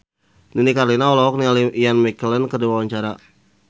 Nini Carlina olohok ningali Ian McKellen keur diwawancara